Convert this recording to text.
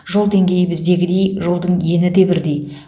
жол деңгейі біздегідей жолдың ені де бірдей